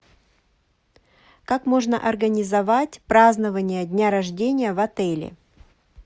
как можно организовать празднование дня рождения в отеле